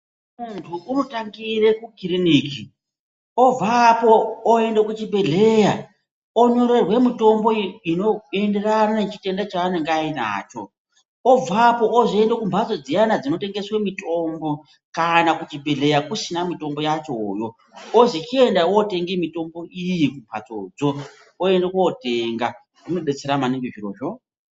Muntu unotangire kukiriniki, obvapo oende kuchibhedhleya, onyorerwe mitombo inoenderana nechitenda chanenge ainacho obvapo ozoenda kumhatso dziyana dzinotengeswe mitombo kana kuchibhedhleya kusina mitombo yachoyo. Ozi chienda wotenga mitombo iyi kumhatsodzo. Oenda kotenga. Zvinodetsera maningi zvirozvo.